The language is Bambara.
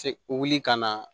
Se wuli ka na